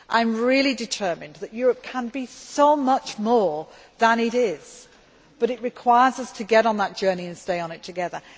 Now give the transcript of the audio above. I am really determined that Europe can be so much more than it is, but it requires us to get on that journey and stay on it together.